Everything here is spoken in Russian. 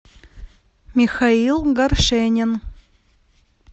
михаил горшенин